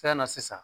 Fɛn na sisan